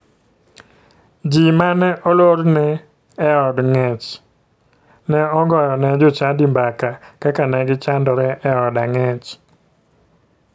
Ji mane olorne e od ng'ech ne ogoyo ne jochadi mbaka kaka ne gichandore e od ang'ech.